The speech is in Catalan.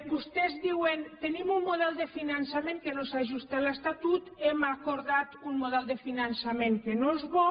vostès diuen tenim un model de finançament que no s’ajusta a l’estatut hem acordat un model de finançament que no és bo